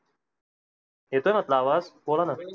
येतो ना तूला आवाज बोलाना?